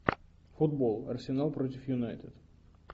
футбол арсенал против юнайтед